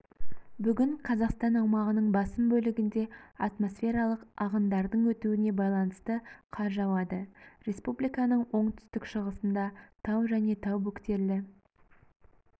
бүгін қазақстан аумағының басым бөлігінде атмосфералық ағындардың өтуіне байланысты қар жауады республиканың оңтүстік-шығысында тау және тау бөктерлі